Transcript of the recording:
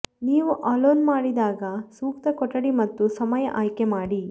ನೀವು ಅಲೋನ್ ಮಾಡಿದಾಗ ಸೂಕ್ತ ಕೊಠಡಿ ಮತ್ತು ಸಮಯ ಆಯ್ಕೆ ಮಾಡಿ